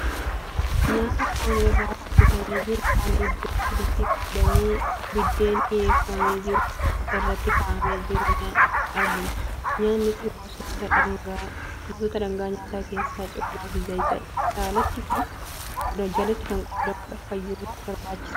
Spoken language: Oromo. Nyaata foon irraa hojjetamee jiru, kan iddoo sadiitti qoodamee biddeen dhiyeeffamee jiru irratti kaa'amee jiru argina. Nyaatni kun gosoota dhangaa nyaataa keessaa coomaa fi zayita jalatti kan qoodamudha. Fayyummaaf barbaachisaadha.